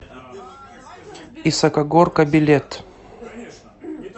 исакогорка билет